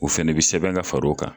U fɛnɛ bɛ sɛbɛn ka fara u kan.